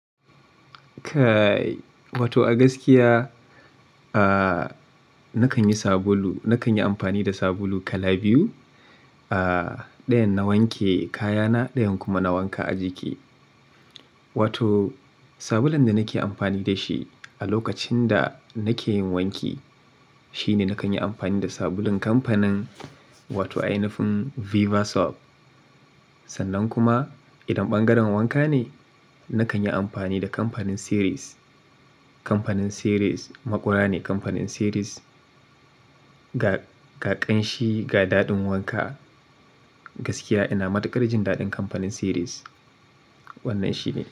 Kai, wato a gaskiya, ah, nakan yi sabulu-- nakan yi amfani da sabulu kala biyu. Ah, ɗayan na wanke kayana, ɗayan kuma na wanka a jiki. Wato sabulun da nake amfani da shi a lokacin da nake yin wanki shi ne nakan yi amfani da sabulun kamfanin wato ainifin Viva Soap. Sannan kuma idan ɓangaren wanka ne, nakan yi amfani da kamfanin siris. Kamfanin Ceres, maƙura ne kamfanin siris. Ga, ga ƙanshi, ga daɗin wanka, gaskiya ina matuƙar jin daɗin kamfanin Ceres. Wannan shi ne.